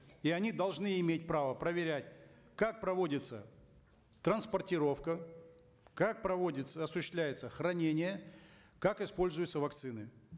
и они должны иметь право проверять как проводится транспортировка как проводится осуществляется хранение как используются вакцины